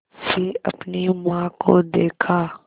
से अपनी माँ को देखा